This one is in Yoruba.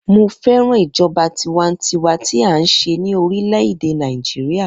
Mo fẹ́ràn ìjọba tiwańtiwa tí à ńṣe ní orílè - èdè Nàìjíríà.